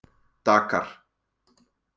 Dakar